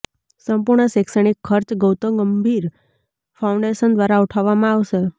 સંપૂર્ણ શૈક્ષણિક ખર્ચ ગૌતમ ગંભીર ફાઉન્ડેશન દ્વારા ઉઠાવવામાં આવશે